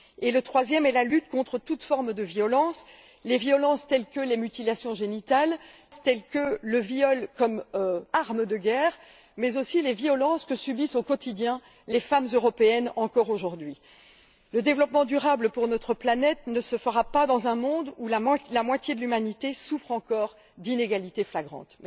le troisième est la lutte contre toute forme de violence les violences telles que les mutilations génitales et le viol comme arme de guerre, mais aussi les violences que subissent au quotidien les femmes européennes, aujourd'hui encore Le développement durable pour notre planète ne se fera pas dans un monde où la moitié de l'humanité souffre encore d'inégalités flagrantes.